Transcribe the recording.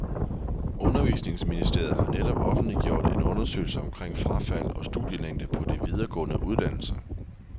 Undervisningsministeriet har netop offentliggjort en undersøgelse omkring frafald og studielængde på de videregående uddannelser.